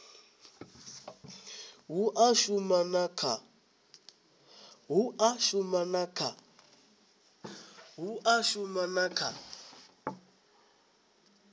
hu a shuma na kha